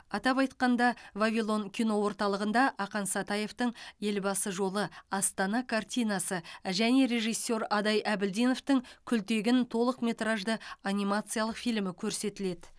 атап айтқанда вавилон кино орталығында ақан сатаевтың елбасы жолы астана картинасы және режиссер адай әбілдиновтің күлтегін толықметражды анимациялық фильмі көрсетіледі